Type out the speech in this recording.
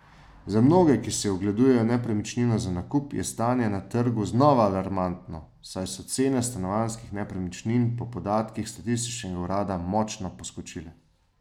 Za mnoge, ki si ogledujejo nepremičnino za nakup, je stanje na trgu znova alarmantno, saj so cene stanovanjskih nepremičnin po podatkih statističnega urada močno poskočile.